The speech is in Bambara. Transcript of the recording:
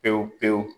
Pewu pewu